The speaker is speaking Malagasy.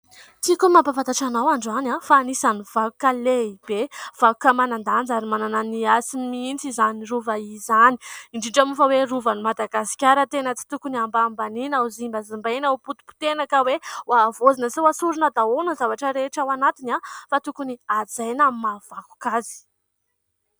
Tiko ny mampafatatra anao androany fa anisany vakoka lehibe, vakoka manan-danja ary manana ny hasiny mihintsy izany rova izany. Indrindra moa fa hoe rova ny Madagasikara tena tsy tokony ambanibaniana ho zimbazimbaina hompotim-potehana ka hoe ho avoazina sy ho asorina daholo ny zavatra rehetra ao anatiny fa tokony hajaina amin'ny maha vakoka azy.